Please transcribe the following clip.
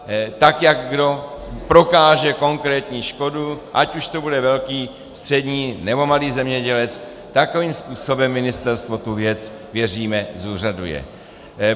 Tak jak kdo prokáže konkrétní škodu, ať už to bude velký, střední, nebo malý zemědělec, takovým způsobem ministerstvo tu věc - věříme - zúřaduje.